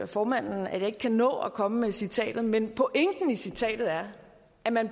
formanden at jeg ikke kan nå at komme med citatet men pointen i citatet er at man